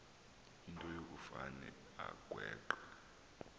into yokufane agweqe